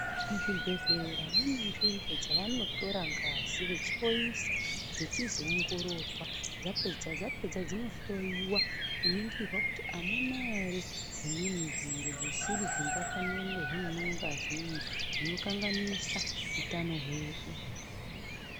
Muzvibhedhlera mune nzvimbo dzavanotora ngazi vechoiswa dzichizoongororwa dzapedza dzinohloyiwa kuningirwa kuti hamuna ere zvimweni zviro zvisiri zvingafanira kunge zvirimwo mungazimwo zvinokanganisa utano hwedu.